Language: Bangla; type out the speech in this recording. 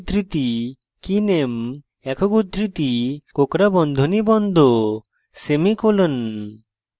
একক উদ্ধৃতি keyname একক উদ্ধৃতি কোঁকড়া বন্ধনী বন্ধ semicolon